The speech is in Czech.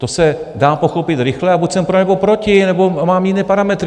To se dá pochopit rychle, a buď jsem pro, nebo proti, nebo mám jiné parametry.